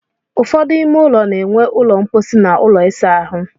Ụfọdụ ime ụlọ na-enwe ụlọ mposi na ụlọ ịsa ahụ.